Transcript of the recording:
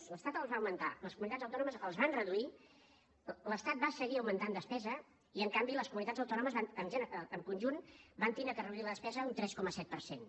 l’estat els va augmentar les comunitats autònomes els van reduir l’estat va seguir augmentant despesa i en canvi les comunitats autònomes van en conjunt haver de reduir la despesa un tres coma set per cent